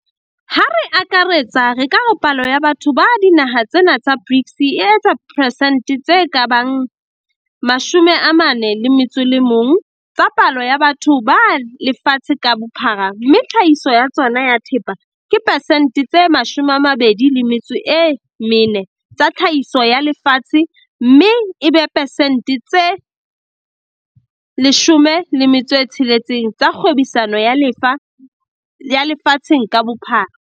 Ha re akaretsa, re ka re palo ya batho ba dinaha tsena tsa BRICS e etsa persente tse ka bang 41 tsa palo ya batho ba lefatshe ka bophara mme tlhahiso ya tsona ya thepa ke persente tse 24 tsa tlhahiso ya lefatshe mme e be persente tse 16 tsa kgwebisano ya lefa tsheng ka bophara.